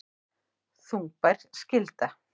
Þungbær skylda